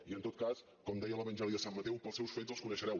i en tot cas com deia l’evangeli de sant mateu pels seus fets els coneixereu